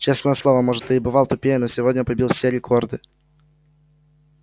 честное слово может ты и бывал тупее но сегодня побил все рекорды